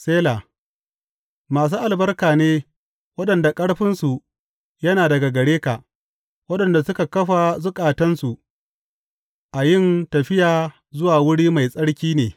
Sela Masu albarka ne waɗanda ƙarfinsu yana daga gare ka, waɗanda suka kafa zukatansu a yin tafiya zuwa wuri mai tsarki ne.